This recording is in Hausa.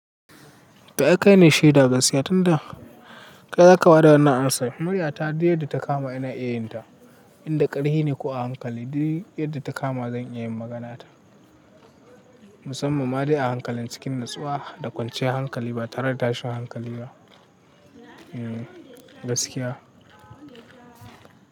To ai kai ne shaida gaskiya tunda kai zaka bada wannan amsa. Murya ta duk yadda ta kama ina iya yin ta. Inda ƙarfi ne ko a hankali, duk yadda ta kama zan iya yin maganata. Musamman ma dai a hankalin cikin natsuwa da kwanciyar hankali ba tare da tashin hankali ba. Gaskiya.